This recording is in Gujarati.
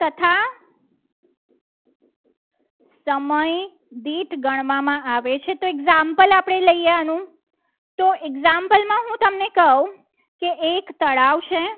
સમય દીઠ ગણવામાં આવે છે. તો એક sample આપણે લઈએ આનું તો example માં હું તમને કહું કે એક તળાવ છે.